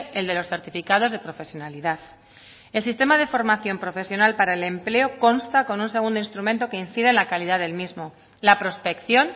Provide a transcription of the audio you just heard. el de los certificados de profesionalidad el sistema de formación profesional para el empleo consta con un segundo instrumento que incide en la calidad del mismo la prospección